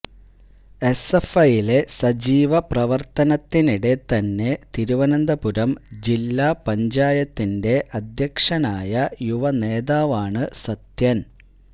എസ്എഫ്ഐയിലെ സജീവ പ്രവർത്തനത്തിനിടെ തന്നെ തിരുവനന്തപുരം ജില്ലാ പഞ്ചായത്തിന്റെ അധ്യക്ഷനായ യുവ നേതാവാണ് സത്യൻ